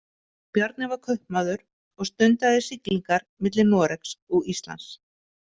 Bjarni var kaupmaður og stundaði siglingar milli Noregs og Íslands.